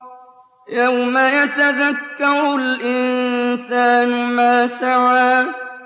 يَوْمَ يَتَذَكَّرُ الْإِنسَانُ مَا سَعَىٰ